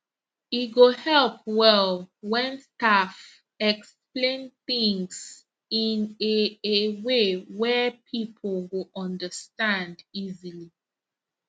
e go help well when staff explain things in a a way wey people go understand easily